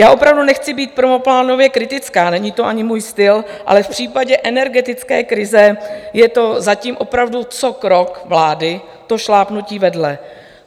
Já opravdu nechci být prvoplánově kritická, není to ani můj styl, ale v případě energetické krize je to zatím opravdu co krok vlády, to šlápnutí vedle.